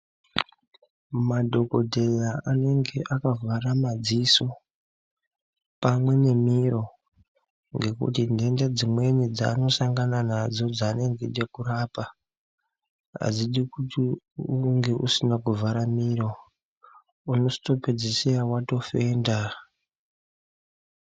Madhokodheya anenge akavhara madziso, pamwe nemiro ngekuti ntenda dzimweni dzaanosangana nadzo dzaanenge eide kurapa, adzidi kuti unge usina kuvhara miro, unotozopedzisira watofenda.